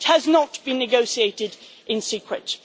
It has not been negotiated in secret.